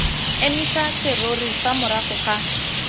emisa serori fa morago ga